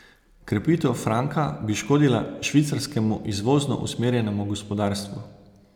Krepitev franka bi škodila švicarskemu izvozno usmerjenemu gospodarstvu.